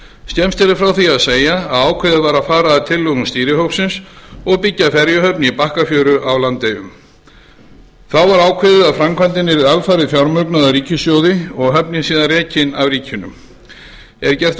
skemmst er frá því að segja að ákveðið var að fara að tillögum stýrihópsins og byggja ferjuhöfn í bakkafjöru á landeyjum þá var ákveðið að framkvæmdin yrði alfarið fjármögnuð af ríkissjóði og höfnin síðan rekin af ríkinu er gert